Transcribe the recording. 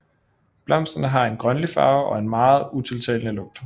Blomsterne har en grønlig farve og en meget utiltalende lugt